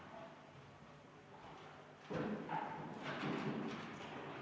Palun tuua hääletamiskastid saali.